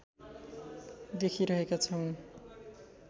देखिरहेका छौँ